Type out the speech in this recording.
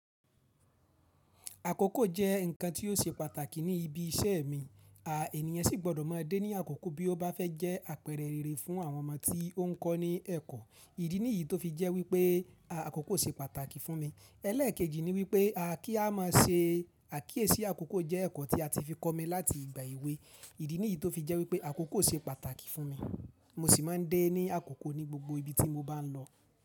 Àkókò jẹ́ ǹkan tí ó ṣe pàtàkì ní ibi iṣẹ́ mi. A ènìyàn sì gbọ́dọ̀ má a dé ní àkókò bí ó bá fẹ́ jẹ́ àpẹrẹ rere fún àwọn ọmọ tí ó ń kọ́ ní ẹ̀kọ́. Ìdí nìyí tó fi jẹ́ wípé, a àkókò ṣe pàtàkì fún mi. Ẹlẹ́ẹ̀kejì ni wípé a kí a má a ṣe àkíyèsí àkókò jẹ́ ẹ̀kọ́ tí a ti fi kọ́ mi láti ìgbà èwe. Ìdí nìyí tó fi jẹ́ wípé àkókò ṣe pàtàkì fún mi. Mo sì má a ń dé ní àkókò ní gbogbo ibi tí mo bá ń lọ.